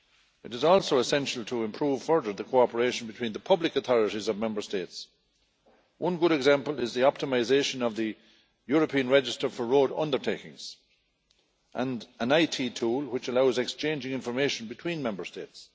It is also essential to improve further the cooperation between the public authorities of Member States. One good example is the optimisation of the European register for road undertakings and an IT tool which allows exchanging information between Member States.